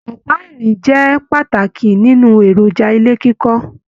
Ọpa irin jẹ pàtàkì nínú èròjà ilé kíkọ.